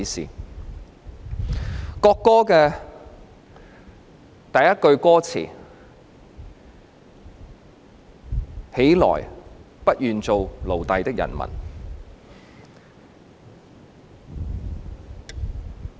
中國國歌第一句歌詞是"起來！不願做奴隸的人民！